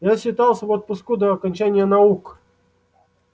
я считался в отпуску до окончания наук